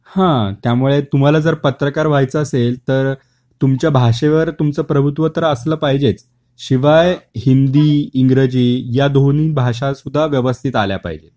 हां. त्यामुळे तुम्हाला जर पत्रकार व्हायचे असेल तर तुमच्या भाषेवर तुमच प्रभुत्व तर असल पाहिजेच. शिवाय हिंदी, इंग्रजी या दोन्ही भाषा सुद्धा व्यवस्थित आल्या पाहिजेत